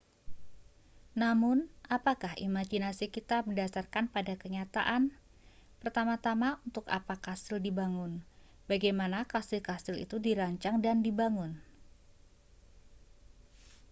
namun apakah imajinasi kita berdasarkan pada kenyataan pertama-tama untuk apa kastil dibangun bagaimana kastil-kastil itu dirancang dan dibangun